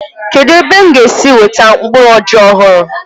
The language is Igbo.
Kedụ ebe m ga-esi nweta mkpụrụ ọjị ọhụrụ.